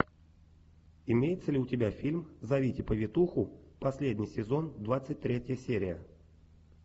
имеется ли у тебя фильм зовите повитуху последний сезон двадцать третья серия